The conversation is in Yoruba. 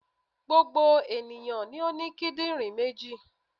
Gbogbo ènìyàn ló ní kídìnrín méjì